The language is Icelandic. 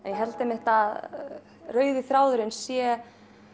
held einmitt að rauði þráðurinn sé